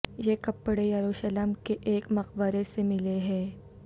یہ کپڑے یروشلم کے ایک مقبرے سے ملے ہیں